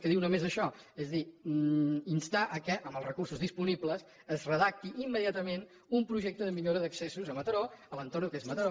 que diu només això és a dir instar que amb els recursos disponibles es redacti immediatament un projecte de millora d’accessos a mataró a l’entorn del que és mataró